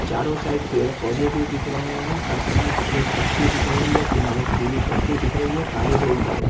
चारों साइड पेड़-पौधे भी दिख रहे हैं फर्श में सफेद पट्टी दिख रही है किनारे पीली पट्टी दिख रही है काली रोड दिख रही --